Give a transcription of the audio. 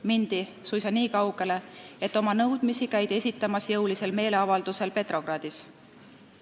Mindi suisa nii kaugele, et oma nõudmisi käidi esitamas jõulisel meeleavaldusel Petrogradis.